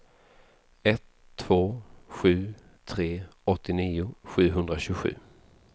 ett två sju tre åttionio sjuhundratjugosju